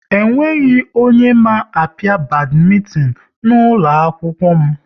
Ọ nweghị onye ma apia badmintin n'ụlọ akwụkwọ m